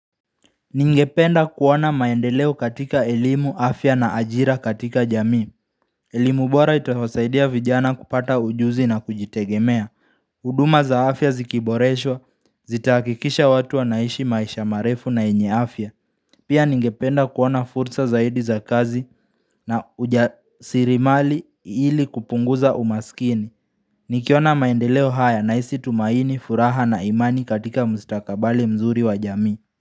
Ningependa kuona maendeleo katika elimu afya na ajira katika jamii elimu bora itasaidia vijana kupata ujuzi na kujitegemea hUduma za afya zikiboreshwa, zitahakikisha watu wanaishi maisha marefu na yenye afya Pia ningependa kuona fursa zaidi za kazi na ujasirimali ili kupunguza umaskini Nikiona maendeleo haya na hisi tumaini, furaha na imani katika mstakabali mzuri wa jamii.